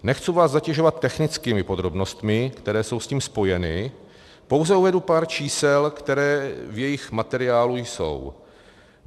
Nechci vás zatěžovat technickými podrobnostmi, které jsou s tím spojeny, pouze uvedu pár čísel, která v jejich materiálu jsou.